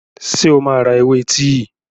Ṣé o máa ra ewé tíì?